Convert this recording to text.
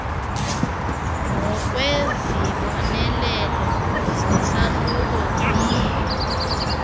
ngokwezibonelelo zesahluko viii